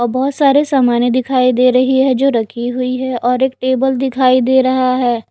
और बहोत सारे सामाने दिखाई दे रही है जो रखी हुई है और एक टेबल दिखाई दे रहा है।